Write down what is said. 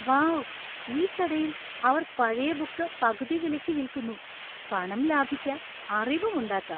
Wow! ഈ കടയിൽ അവർ പഴയ ബുക്ക് പകുതി വിലക്ക് വിൽക്കുന്നു. പണം ലാഭിക്കാം, അറിവുമുണ്ടാക്കാം.